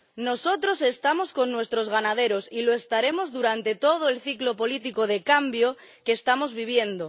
Nosotros estamos con nuestros ganaderos y lo estaremos durante todo el ciclo político de cambio que estamos viviendo.